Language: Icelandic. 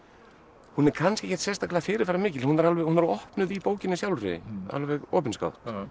hún er kannski ekkert sérstaklega fyrirferðarmikil hún er opnuð í bókinni sjálfri alveg opinskátt